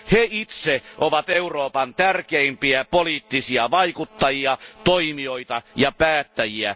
He itse ovat Euroopan tärkeimpiä poliittisia vaikuttajia, toimijoita ja päättäjiä.